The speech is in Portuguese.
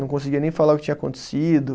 Não conseguia nem falar o que tinha acontecido.